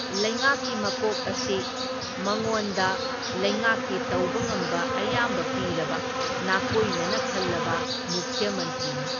ꯂꯩꯉꯥꯛꯀꯤ ꯃꯀꯣꯛ ꯑꯁꯤ ꯃꯉꯣꯟꯗ ꯂꯩꯉꯥꯛꯀꯤ ꯇꯧꯕ ꯉꯝꯕ ꯑꯌꯥꯝꯕ ꯄꯤꯔꯕ ꯅꯥꯀꯣꯏꯅꯅ ꯈꯜꯂꯕ ꯃꯨꯈ꯭ꯌ ꯃꯟꯇ꯭ꯔꯤꯅꯤ꯫